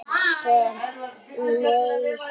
Gas sem leysir